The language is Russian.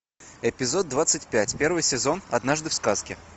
эпизод двадцать пять первый сезон однажды в сказке